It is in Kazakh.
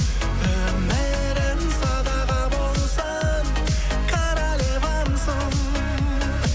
өмірім садаға болсын королевамсың